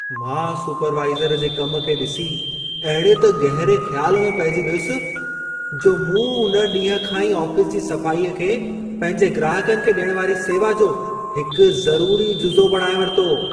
मां सुपरवाइज़र जे कम खे ॾिसी अहिड़े त गहिरे ख़्याल में पहिजी वियसि, जो मूं उन ॾींह खां ई आफ़ीस जी सफ़ाईअ खे पंहिंजे ग्राहकनि खे डि॒यणु वारी सेवा जो हिकु ज़रूरी जुज़ो बणाइ वरितो।